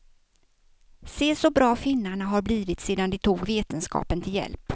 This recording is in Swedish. Se så bra finnarna har blivit sedan de tog vetenskapen till hjälp.